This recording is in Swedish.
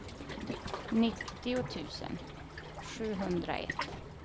nittio tusen sjuhundraett